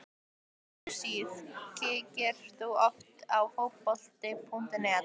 mjög góð síða Kíkir þú oft á Fótbolti.net?